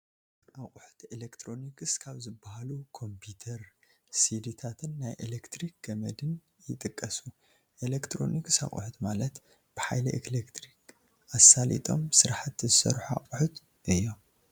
ኣቕሑት ኤሌክትሮኒክስ ካብ ዝባሃሉ ኮምፒተር፣ ሲዲታን ናይ ኤሌክትሪክ ገመድን ይጥቀሱ፡፡ ኤሌክትሮኒክስ ኣቕሑት ማለት ብሓይሊ ኦሌክትሪክ ኣሳሊጦም ስራሕቲ ዝሰርሑ ኣቑሑት እዮም፡፡